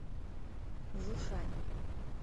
жушань